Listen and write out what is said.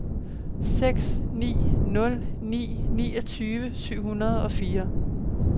seks ni nul ni niogtyve syv hundrede og fire